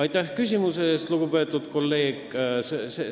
Aitäh küsimuse eest, lugupeetud kolleeg!